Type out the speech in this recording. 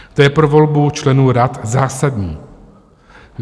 To je pro volbu členů rad zásadní.